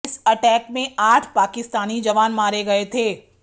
इस अटैक में आठ पाकिस्तानी जवान मारे गए थे